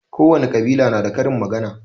Kowane ƙabila na da karin magana